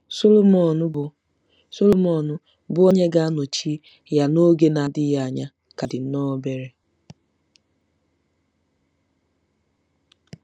Sọlọmọn, bụ́ Sọlọmọn, bụ́ onye ga-anọchi ya n’oge na-adịghị anya, ka dị nnọọ obere.